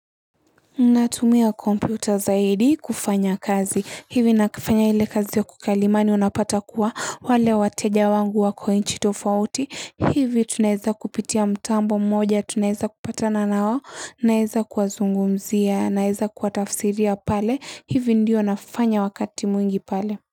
Natumia kompyuta zaidi kufanya kazi. Hivi nafanya ile kazi ya kukalimani unapata kuwa wale wateja wangu wakonchi tofauti. Hivi tunaweza kupitia mtambo mmoja, tunaweza kupata na nao, naweza kuwazungumzia, naweza kuwatafsiria pale. Hivi ndio nafanya wakati mwingi pale.